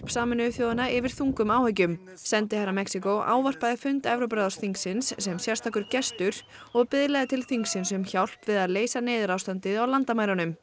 Sameinuðu þjóðanna yfir þungum áhyggjum sendiherra Mexíkó ávarpaði fund Evrópuráðsþingsins sem sérstakur gestur og biðlaði til þingsins um hjálp við að leysa neyðarástandið á landamærunum